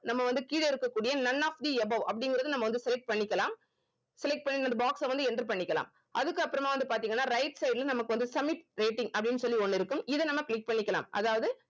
நம்ம வந்து கீழ இருக்கக்கூடிய none of the above அப்படிங்கிறத நம்ம வந்து select பண்ணிக்கலாம் select பண்ணி அந்த box அ வந்து enter பண்ணிக்கலாம் அதுக்கப்புறமா வந்து பாத்தீங்கன்னா right side ல நமக்கு வந்து submit rating அப்படின்னு சொல்லி ஒண்ணு இருக்கும் இத நம்ம click பண்ணிக்கலாம் அதாவது